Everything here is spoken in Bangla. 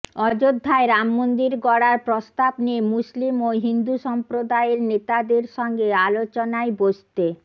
অযোধ্যায় রামমন্দির গড়ার প্রস্তাব নিয়ে মুসলিম ও হিন্দু সম্প্রদায়ের নেতাদের সঙ্গে আলোচনায় বসতে